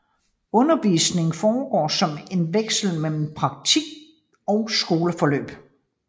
Undervisningen foregår som en vekslen mellem praktik og skoleforløb